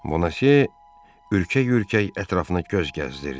Bonasyö ürkək-ürkək ətrafına göz gəzdirdi.